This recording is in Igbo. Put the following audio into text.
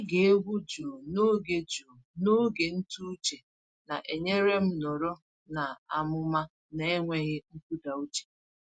Ịge egwu jụụ n’oge jụụ n’oge ntụ uche na-enyere m nọrọ n’amụma n’enweghị nkụda uche.